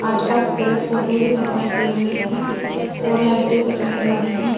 आस पास पेड पौधे भी दिखाई दे रही है और लाइटे दिखाई दे रही है।